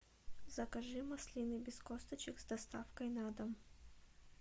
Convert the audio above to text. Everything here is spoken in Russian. закажи маслины без косточек с доставкой на дом